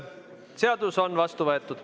Seadus on vastu võetud.